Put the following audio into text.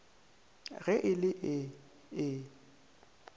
ge e le ee e